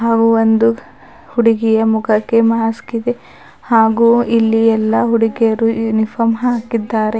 ಅವು ಒಂದು ಹುಡುಗಿಯ ಮುಖಕ್ಕೆ ಮಾಸ್ಕ್ ಇದೆ ಹಾಗು ಇಲ್ಲಿ ಎಲ್ಲಾ ಹುಡುಗಿಯರು ಯುನಿಫಾರ್ಮ್ ಹಾಕಿದ್ದಾರೆ.